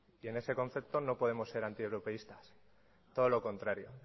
y en ese concepto no podemos ser antieuropeístas todo lo contrario